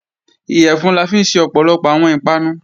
Iyẹ̀fun la fi ń ṣe ọ̀pọ̀lọpọ̀ àwọn ìpanu